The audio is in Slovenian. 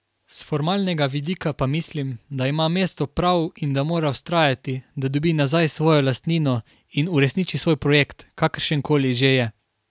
S formalnega vidika pa mislim, da ima mesto prav in da mora vztrajati, da dobi nazaj svojo lastnino in uresniči svoj projekt, kakršenkoli že je.